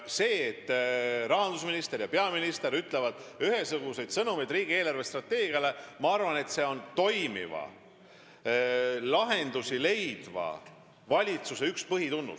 See, et rahandusminister ja peaminister ütlevad ühesuguseid sõnumeid riigi eelarvestrateegia kohta, on minu arvates toimiva, lahendusi leidva valitsuse üks põhitunnus.